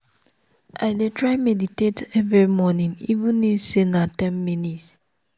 i dey try meditate every morning even if na just ten minutes